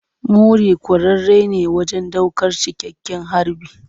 Muri kwararre ne wajen daukar cikakken harbi.